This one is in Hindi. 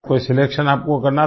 कोई सिलेक्शन आप को करना था